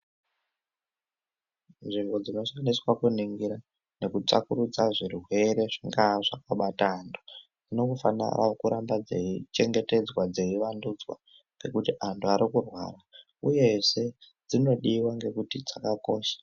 Nzvimbo dzinoseenzeswa kuningira nekutsvakurudza zvirwere zvingaa zvakabata antu, dzinongofanira kuramba dzeichengetedzwa, dzeivandudzwa, ngekuti antu ari kurwara ,uyezve dzinodiwa ngekuti dzakakosha.